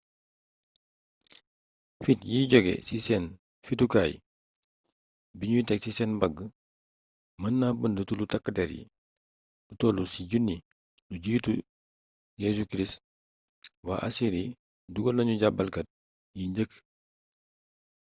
fitt yi jóge ci seen fittukaay bi nuy teg ci seen mbàgg mën na bënd tullu takk der yi lu toll ci 1000 lu jiitu jc waa assyri dugal nanu jaabalkat yi njëkk